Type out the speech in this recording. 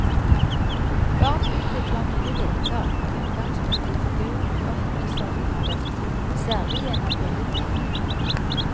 Barn utvikler nye leker med utgangspunkt i figurer og hendelser de har møtt, særlig gjennom billedmediene.